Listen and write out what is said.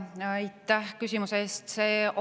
Aitäh küsimuse eest!